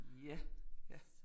Ja, ja